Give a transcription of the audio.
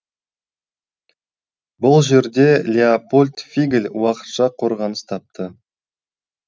бұл жерде леопольд фигль уақытша қорғаныс тапты